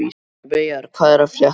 Veigar, hvað er að frétta?